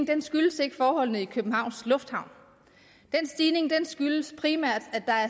den skyldes ikke forholdene i københavns lufthavn stigningen skyldes primært at der er